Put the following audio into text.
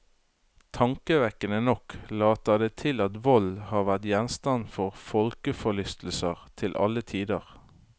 Tankevekkende nok later det til at vold har vært gjenstand for folkeforlystelse til alle tider.